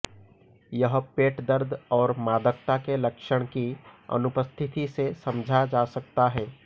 यह पेट दर्द और मादकता के लक्षण की अनुपस्थिति से समझा जा सकता है